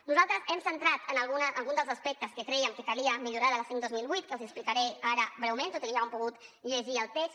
nosaltres hem centrat algun dels aspectes que crèiem que calia millorar de la cinc dos mil vuit que els explicaré ara breument tot i que ja ho han pogut llegir al text